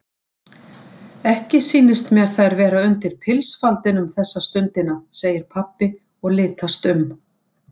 Ekki sýnist mér þær vera undir pilsfaldinum þessa stundina segir pabbi og litast um.